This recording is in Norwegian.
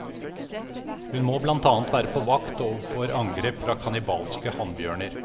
Hun må blant annet være på vakt overfor angrep fra kannibalske hannbjørner.